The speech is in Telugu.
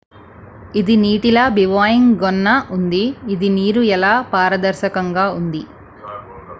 """""""ఇది నీటిలా బివాయింగ్ గొన్న ఉంది. ఇది నీరు ఎలా పారదర్శకంగా ఉంది.""